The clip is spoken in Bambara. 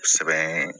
Sɛbɛn